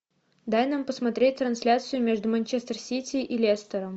дай нам посмотреть трансляцию между манчестер сити и лестером